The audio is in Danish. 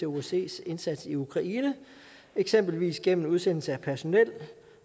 osces indsats i ukraine eksempelvis gennem udsendelse af personel